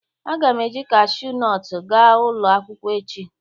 Aga m eji Kashu nọtu gaa ulo akwukwo echi